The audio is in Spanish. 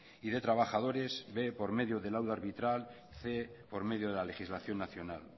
y de trabajadores b por medio de laudo arbitral cien por medio de la legislación nacional